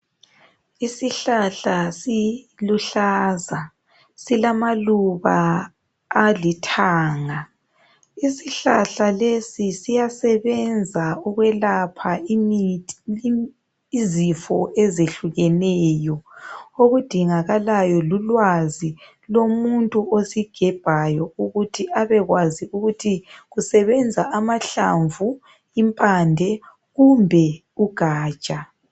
Isihlahla siluhlaza, silamaluba alithanga. Isihlahla lesi siyasebenza ukwelapha izifo ezehlukeneyo okudingakalayo lulwazi lomuntu osigebhayo ukuthi abekwazi ukuthi kusebenza amahlamvu, impande kumbe ugatsha.